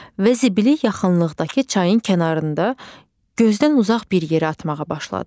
Və zibili yaxınlıqdakı çayın kənarında gözdən uzaq bir yerə atmağa başladı.